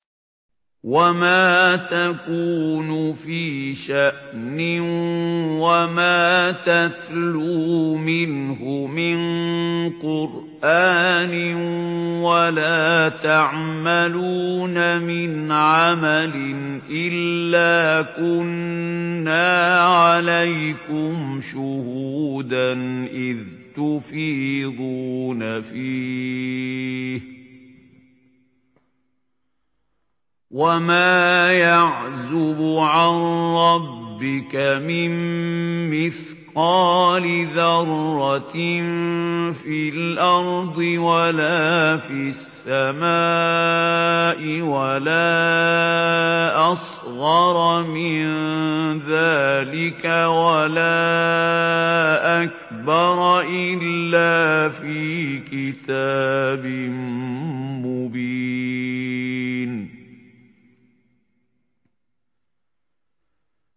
وَمَا تَكُونُ فِي شَأْنٍ وَمَا تَتْلُو مِنْهُ مِن قُرْآنٍ وَلَا تَعْمَلُونَ مِنْ عَمَلٍ إِلَّا كُنَّا عَلَيْكُمْ شُهُودًا إِذْ تُفِيضُونَ فِيهِ ۚ وَمَا يَعْزُبُ عَن رَّبِّكَ مِن مِّثْقَالِ ذَرَّةٍ فِي الْأَرْضِ وَلَا فِي السَّمَاءِ وَلَا أَصْغَرَ مِن ذَٰلِكَ وَلَا أَكْبَرَ إِلَّا فِي كِتَابٍ مُّبِينٍ